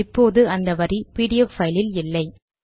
இப்போது அந்த வரி பிடிஎஃப் பைல் இல் இல்லை